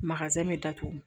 bɛ datugu